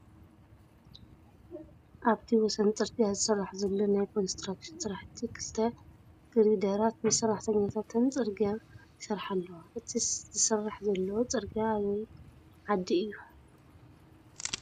ኣብቲ ወሰን ፅርግያ ዝስራሕ ዘለዎ ናይ ኮንትራክሽን ስራሕቲ ክልተ ግርደራት ምስ ሰራሕተኛታተን ፅርግያ ይሰርሓ ኣለዋ፡፡ እቲ ዝስራሕ ዘሎ ፅርግያ ኣበይ ዓዲ እዩ?